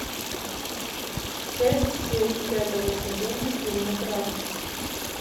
часть семь пятого сезона фильма крах